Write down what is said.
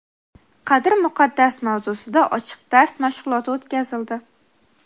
qadr muqaddas mavzusida ochiq dars mashg‘uloti o‘tkazildi.